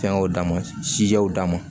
Fɛngɛw d'a ma sijaw d'a ma